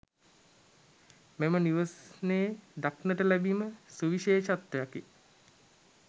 මෙම නිවෙස්නයේ දක්නට ලැබීම සුවිශේෂත්වයකි.